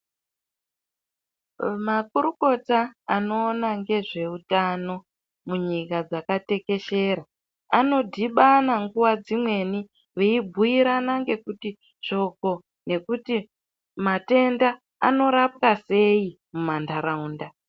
Makorokota anoona ngezveutano munyika dzakatekeshera anodhibana nguwa dzimweni veibhuirana ngekuti shoko nekuti matenda anorapwasei mumantaraunda.